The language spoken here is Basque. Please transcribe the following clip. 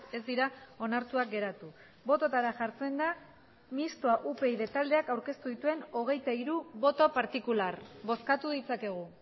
ez dira onartuak geratu bototara jartzen da mistoa upyd taldeak aurkeztu dituen hogeita hiru boto partikular bozkatu ditzakegu